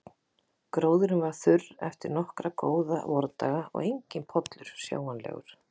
Gróðurinn var þurr eftir nokkra góða vordaga og enginn pollur sjáanlegur.